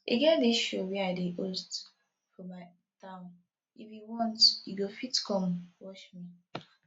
e get dis show wey i dey host for my town if you want you go fit come watch me